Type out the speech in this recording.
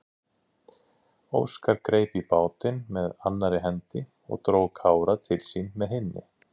Óskar greip í bátinn með annarri hendi og dró Kára til sín með hinni.